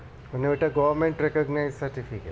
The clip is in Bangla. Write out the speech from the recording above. মানে ওটা government recognised certificate